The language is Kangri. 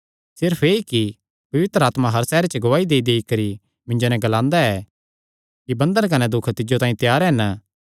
सिर्फ एह़ कि पवित्र आत्मा हर सैहरे च गवाही देईदेई करी मिन्जो नैं ग्लांदा ऐ कि बन्धन कने दुख तिज्जो तांई त्यार हन